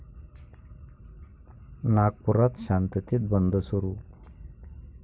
नागपुरात शांततेत बंद सुरू